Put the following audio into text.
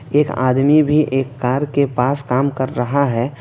एक आदमी भी एक कार के पास काम कर रहा है।